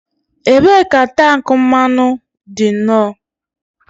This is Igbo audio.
Ebee ka tank mmanụ dị no?